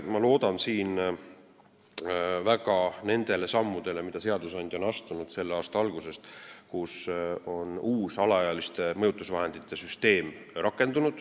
Ma loodan väga nendele sammudele, mida seadusandja astus selle aasta alguses, kui rakendus uus alaealiste mõjutusvahendite süsteem.